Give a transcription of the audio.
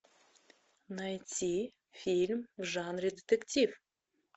найти фильм в жанре детектив